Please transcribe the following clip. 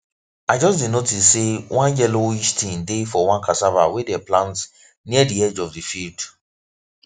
i just dey notice say one yellowish thing dey for one cassava wey them plant near the edge of the field